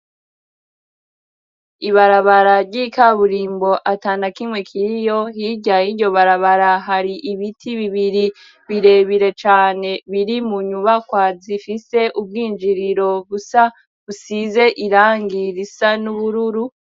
Ibarabararyoikaburimbo atanda kimwe kiriyo hirya yo iryo barabara hari ibiti bibiri birebire cane biri mu nyubakwazi ifise ubwinjiriro busa usize irangirisa n'ubururu.